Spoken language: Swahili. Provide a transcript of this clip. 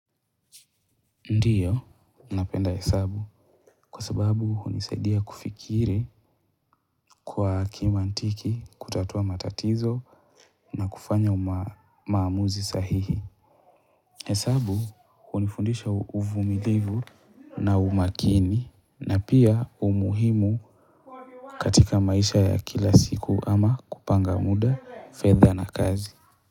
Ndio, napenda hesabu kwa sababu hunisaidia kufikiri kwa kimantiki, kutatua matatizo na kufanya maamuzi sahihi. Hesabu hunifundisha uvumilivu na umakini na pia umuhimu katika maisha ya kila siku ama kupanga muda, fedha na kazi.